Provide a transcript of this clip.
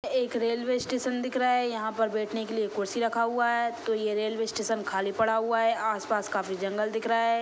एक railway station दिख रहा हैं यहाँ पर बैठने के लिए कुर्सी रखा हुआ है तो ये रेलवे स्टेशन खाली पड़ा हुआ हैं आस-पास काफी जंगल दिख रहा हैं ।